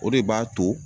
O de b'a to